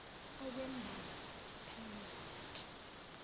okwembali lapel rosette